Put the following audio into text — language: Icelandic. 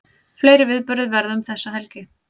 Fleiri viðburðir verða um þessa helgi